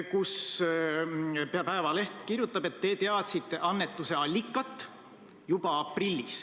Päevaleht kirjutab, et te teadsite annetuse allikat juba aprillis.